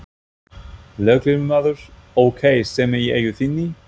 Lögreglumaður: Ókei, sem er í eigu þinni?